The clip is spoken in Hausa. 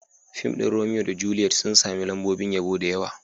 Fim ɗin Romeo da Juliet sun sami lambobin yabo da yawa.